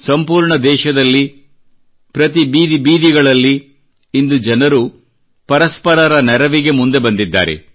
ಸಂಪೂರ್ಣ ದೇಶದಲ್ಲಿ ಪ್ರತಿ ಬೀದಿ ಬೀದಿಗಳಲ್ಲಿ ಇಂದು ಜನರು ಪರಸ್ಪರರ ನೆರವಿಗೆ ಮುಂದೆ ಬಂದಿದ್ದಾರೆ